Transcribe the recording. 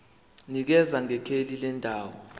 nikeza ngekheli lendawo